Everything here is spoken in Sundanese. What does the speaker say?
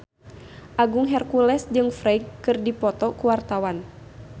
Agung Hercules jeung Ferdge keur dipoto ku wartawan